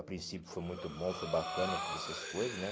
A princípio foi muito bom, foi bacana, todas essas coisas, né?